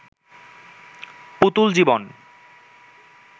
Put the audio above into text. পুতুল জীবন